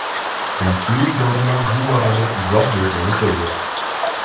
Rasmiy idoralar bu borada izoh berganicha yo‘q.